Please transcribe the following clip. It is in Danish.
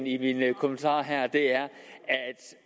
i mine kommentarer her